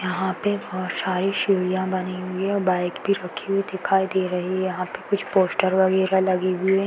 यहाँ पे बहोत सारी सीढ़िया बनी हुई हैं और बाइक भी रखी हुई दिखाई दे रही है। यहाँ पे कुछ पोस्टर वगैरह भी लगी हुयी हैं।